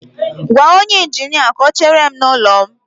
Gwa onye injinia ka ọ chere m n'ụlọ m